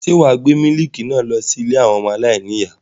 Ṣé wà á gbé mílíkì náà lọ sí ilé àwọn ọmọ aláìníìyá?